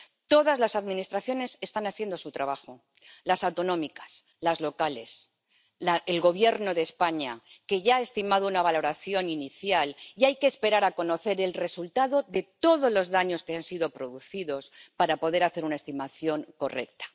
Todas las administraciones están haciendo su trabajo las autonómicas, las locales, el Gobierno de España —que ya ha estimado una valoración inicial, y hay que esperar a conocer el resultado de todos los daños que han sido producidos para poder hacer una estimación correcta—.